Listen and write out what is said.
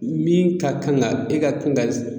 Min ka kan ka e ka kan ka